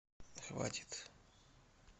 хватит